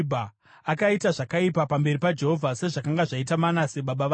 Akaita zvakaipa pamberi paJehovha, sezvakanga zvaita Manase baba vake.